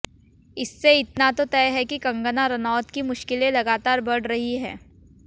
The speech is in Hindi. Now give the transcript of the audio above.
इससे इतना तो तय है कि कंगना रनौत की मुश्किलें लगातार बढ़ रहीं हैं